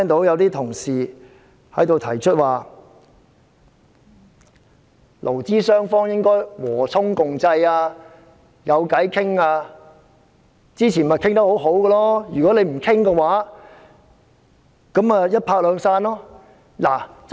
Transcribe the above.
有同事提出勞資雙方應和衷共濟，要有商討的空間或事前商討出結果，否則便一拍兩散。